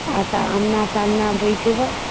ଆଶା ଆମ୍ନା ସାମ୍ନା ବଇଥିବ